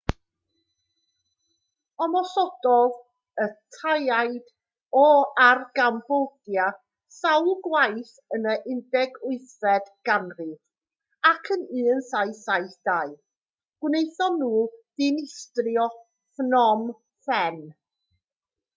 ymosododd y taiaid ar gambodia sawl gwaith yn y 18fed ganrif ac yn 1772 gwnaethon nhw ddinistrio phnom phen